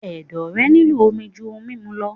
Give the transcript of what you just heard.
Ẹ̀dọ̀ rẹ̀ nílò omi jú ohun mímu lọ.